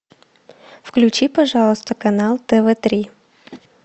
включи пожалуйста канал тв три